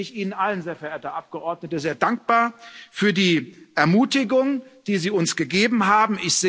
Insofern bin ich Ihnen allen, sehr verehrte Abgeordnete, sehr dankbar für die Ermutigung, die Sie uns gegeben haben.